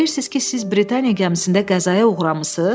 Deyirsiz ki, siz Britaniya gəmisində qəzaya uğramısız?